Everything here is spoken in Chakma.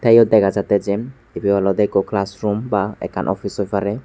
te eyot dega jatte jen ebe olode ekko classroom bah office oi pare.